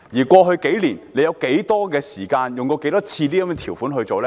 過去數年，政府曾多少次引用過這些條款？